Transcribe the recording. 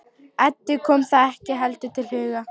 Eddu kom það ekki heldur til hugar.